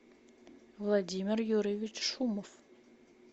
владимир юрьевич шумов